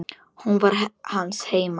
Hún var hans heima.